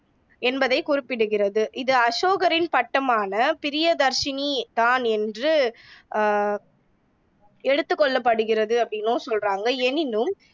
என்பதைக் குறிப்பிடுகிறது. இது அசோகரின் பட்டமான பிரியதர்சினி தான் என்று அஹ் எடுத்துக் கொள்ளப்படுகிறது அப்படின்னும் சொல்றாங்க. எனினும்